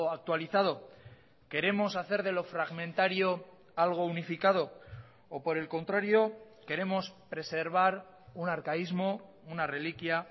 actualizado queremos hacer de lo fragmentario algo unificado o por el contrario queremos preservar un arcaísmo una reliquia